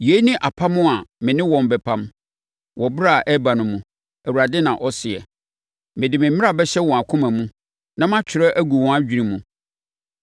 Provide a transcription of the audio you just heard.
“Yei ne apam a me ne wɔn bɛpam wɔ ɛberɛ a ɛreba no mu. Awurade na ɔseɛ: Mede me mmara bɛhyɛ wɔn akoma mu na matwerɛ agu wɔn adwene mu.”